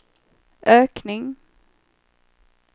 ökning